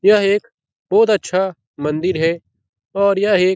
यह एक बहुत अच्छा मंदिर है और यह एक --